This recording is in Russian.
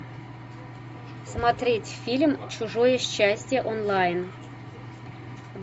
смотреть фильм чужое счастье онлайн